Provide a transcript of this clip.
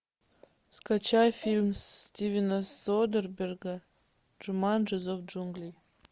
скачай фильм стивена содерберга джуманджи зов джунглей